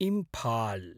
Imphal